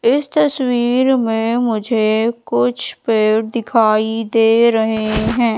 इस तस्वीर में मुझे कुछ पेड़ दिखाई दे रहे हैं।